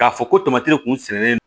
K'a fɔ ko tamati kunsɛnnen don